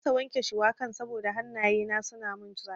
Na kasa wanke shuwakan saboda hannaye na suna mun zafi.